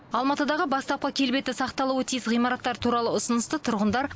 алматыдағы бастапқы келбеті сақталуы тиіс ғимараттар туралы ұсынысты тұрғындар